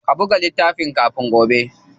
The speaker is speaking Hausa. Ka buga littafin kafin gobe.